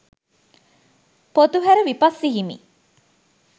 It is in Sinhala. පොතුහැර විපස්සී හිමි